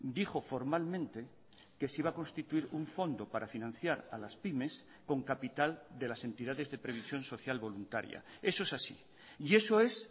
dijo formalmente que se iba a constituir un fondo para financiar a las pymes con capital de las entidades de previsión social voluntaria eso es así y eso es